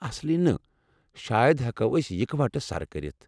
اصلی نہٕ۔ شاید ہیٚکو ٲسۍ اِكہٕ وٹہٕ سرٕ كرِتھ ۔